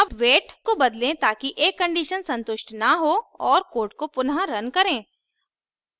अब weight को बदलें ताकि एक condition संतुष्ट न हो और code को पुनःरन करें